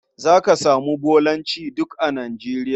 Za ka samu Bolancj duk a Nigeria.